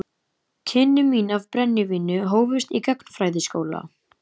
Kynni mín af brennivíni hófust í gagnfræðaskóla.